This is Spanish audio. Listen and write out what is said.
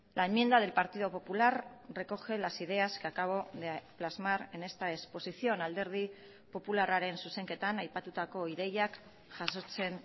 la enmienda del partido popular recoge las ideas que acabo de plasmar en esta exposición alderdi popularraren zuzenketan aipatutako ideiak jasotzen